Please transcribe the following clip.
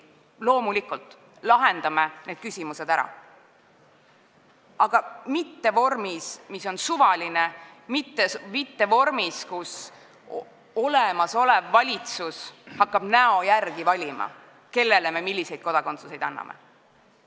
Loomulikult, lahendame need küsimused ära, aga mitte suvalises vormis – mitte sellises vormis, kus olemasolev valitsus hakkab näo järgi valima, kellele me millise kodakondsuse anname.